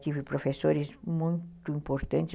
Tive professores muito importantes.